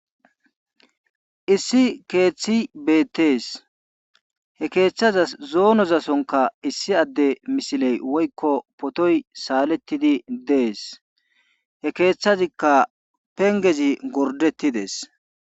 issi keeththi beettees he keeththaza zoonozasonka issi adde misiley woykko potoy saalettidi dees he keeththazikka pengezi gordettidees